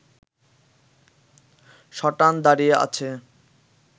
সটান দাঁড়িয়ে আছে